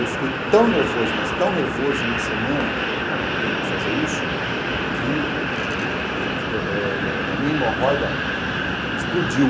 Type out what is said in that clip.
Eu fiquei tão nervoso, mas tão nervoso em uma semana, ela tendo que fazer isso, que a minha hemorroida explodiu.